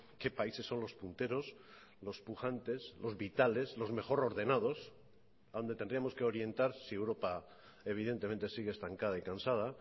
qué países son los punteros los pujantes los vitales los mejor ordenados donde tendríamos que orientar si europa evidentemente sigue estancada y cansada